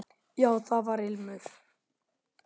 Já, það var ilmur!